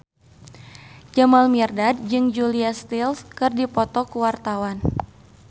Jamal Mirdad jeung Julia Stiles keur dipoto ku wartawan